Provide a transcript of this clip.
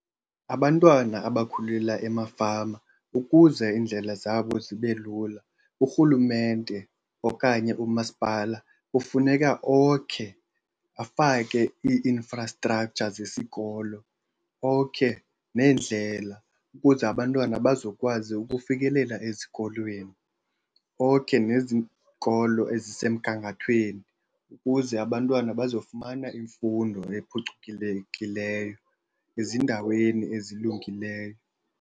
Abantwana abakhulela emafama ukuze iindlela zabo zibe lula urhulumente okanye umasipala kufuneka okhe, afake ii-infrastructure zesikolo, okhe neendlela ukuze abantwana bazokwazi ukufikelela ezikolweni. Okhe nezikolo ezisemgangathweni ukuze abantwana bazofumana imfundo ephucukilekileyo ezindaweni ezilungileyo.